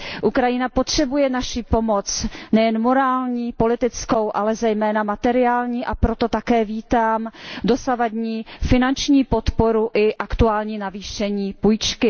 Ukrajina potřebuje naši pomoc, nejen morální, politickou, ale zejména materiální, a proto také vítám dosavadní finanční podporu i aktuální navýšení půjčky.